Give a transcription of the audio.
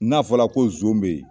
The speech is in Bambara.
N'a fɔla ko zon be yen